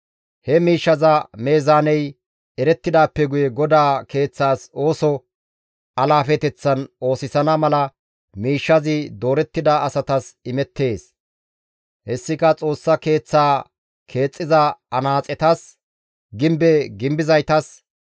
He miishshaza meezaaney erettidaappe guye GODAA Keeththaza ooso alaafeteththan oosisana mala miishshazi doorettida asatas imettees; hessika Xoossa Keeththaa keexxiza anaaxetas, gimbe gimbizaytas,